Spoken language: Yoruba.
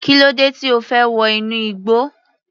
Kílódé tí O fẹ́ wọ inú igbó.